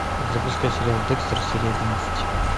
запускай сериал декстер серия одиннадцать